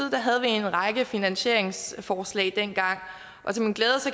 havde vi en række finansieringsforslag dengang